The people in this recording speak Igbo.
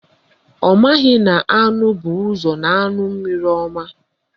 Ọ maghị na anụ bu ụzọ na-aṅụ mmiri ọma